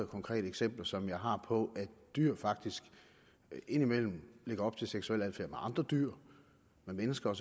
konkrete eksempler som jeg har på at dyr faktisk indimellem lægger op til seksuel adfærd med andre dyr og med mennesker